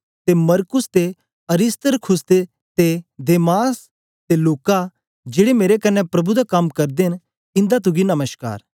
ते मरकुस ते अरिस्तर्खुस ते देमास ते लूका जेड़े मेरे कन्ने प्रभु दा कम करदे न इंदा तुसेंगी नमश्कार